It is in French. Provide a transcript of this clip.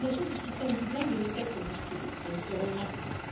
Les fondations du système Dublin devaient être bousculées, elles seront maintenues.